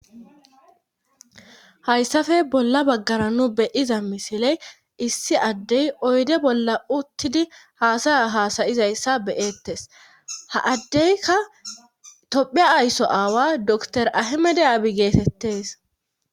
hayssafe bolla baggara nu beyiza misiley issi addey oyde bolla uttidi haasaya haasayizayssa beyettes ha addeyka tophe aysso aawa dr ahimede aabi geetettes